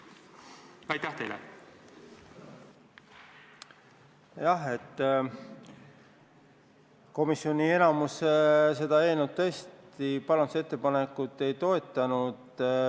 Jah, komisjoni enamus tõesti seda parandusettepanekut ei toetanud.